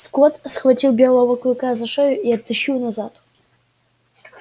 скотт схватил белого клыка за шею и оттащил назад